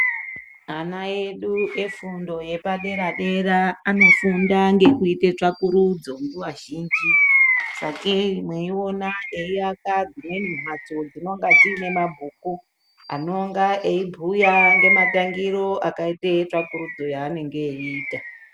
Ana edu efundo yepaderadera anofunda ngekuite tsvakurudzo nguwa zhinji sakei mweona eiaka dzimweni mbatso dzinonga dzinemabhuku anonga eibhuya ngematangiro akaite tsvakurudzo yanenge eiita.